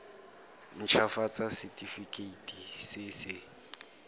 nt hafatsa setefikeiti se se